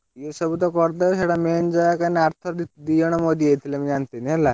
ଏ ସବୁ ତ କରିଦବ ସେଇଟା main ଜାଗା ନା ଆରଥର ଦି ଜଣ ମରି ଯାଇଥିଲେ ମୁଁ ଜାଣିଥିଲି ହେଲା।